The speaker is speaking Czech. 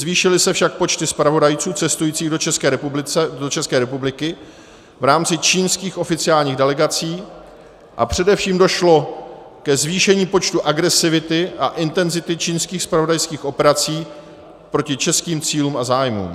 Zvýšily se však počty zpravodajců cestujících do České republiky v rámci čínských oficiálních delegací a především došlo ke zvýšení počtu agresivity a intenzity čínských zpravodajských operací proti českým cílům a zájmům.